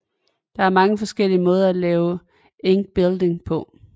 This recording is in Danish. Der er mange forskellige måder at lave linkbuilding på